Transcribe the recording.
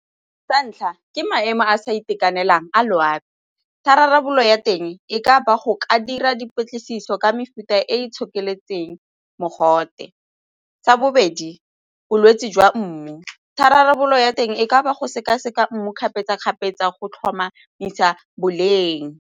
Sa ntlha, ke maemo a sa itekanelang a loapi tharabololo ya teng e ka ba go ka dira dipatlisiso ka mefuta e e itshokeletseng mogote. Sa bobedi, bolwetse jwa mmu tharabololo ya teng e ka ba go sekaseka mmu kgapetsa-kgapetsa go tlhomamisa boleng.